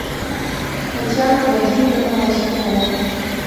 татьяна владимировна лоскутова